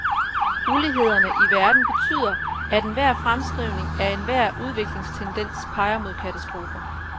Ulighederne i verden betyder, at enhver fremskrivning af enhver udviklingstendens peger mod katastrofer.